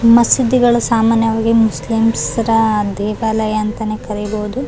ಮಸೀದಿಗಳು ಸಾಮಾನ್ಯಾವಾಗಿ ಮುಸ್ಲಿಮ್ಸ್ರ ದೇವಾಲಯ ಅಂತ ಕರೀಬಹುದು .